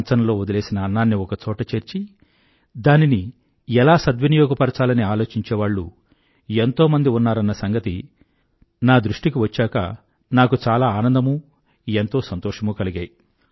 కంచంలో వదిలేసిన అన్నాన్ని ఒక చోట చేర్చి దానిని ఎలా సద్వినియోగపరచాలని ఆలోచించేవాళ్ళు ఎంతో మంది ఉన్నారన్న సంగతి నా దృష్టికి వచ్చాకా నాకు చాలా ఆనందమూ ఎంతో సంతోషమూ కలిగాయి